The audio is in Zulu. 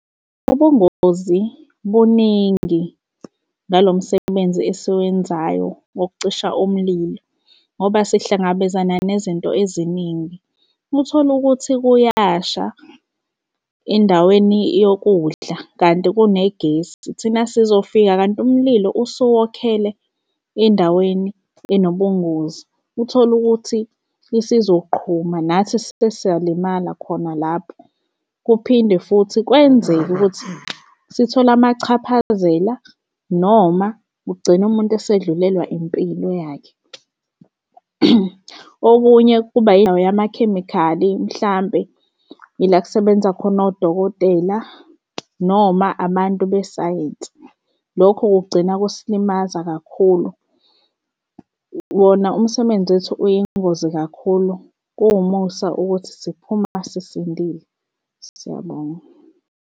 Ubungozi buningi ngalo msebenzi esiwenzayo wokucisha umlilo ngoba sihlangabezana nezinto eziningi. Uthole ukuthi kuyasha endaweni yokudla kanti kunegesi thina sizofika kanti umlilo usuwokhele endaweni enobungozi. Uthole ukuthi isizoqhuma nathi sesiyalimala khona lapho. Kuphinde futhi kwenzeke ukuthi sithole amachaphazela noma ugcine umuntu esedlulelwa impilo yakhe. Okunye kuba yindawo yamakhemikhali mhlampe ila kusebenza khona odokotela noma abantu besayensi, lokho kugcina kusilimaza kakhulu. Wona umsebenzi wethi uyingozi kakhulu kuwumusa ukuthi siphuma sisindile. Siyabonga.